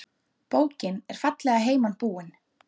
Bókin er fallega heiman búin.